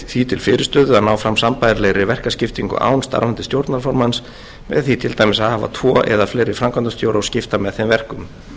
til fyrirstöðu að ná fram sambærilegri verkaskiptingu án starfandi stjórnarformanns með því til dæmis að hafa tvo eða fleiri framkvæmdastjóra og skipta með þeim verkum